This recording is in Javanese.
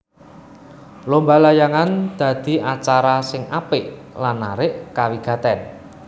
Lomba layangan dadi acara sing apik lan narik kawigatèn